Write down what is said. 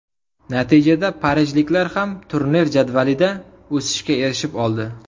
Natijada parijliklar ham turnir jadvalida o‘sishga erishib oldi.